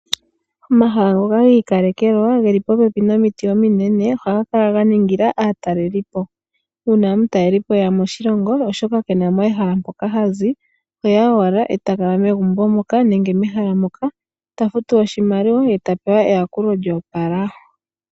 Omahala ngoka gi ikalekelwa geli popepi nomiti ominene ohaga kala ga ningila aatalelelipo. Uuna omutalelipo e ya moshilongo, oshoka ke na mo ehala mpoka hazi oheya owala e ta kala megumbo moka nenge mehala moka, ta futu oshimaliwa ye ta pewa eyakulo lyo opala.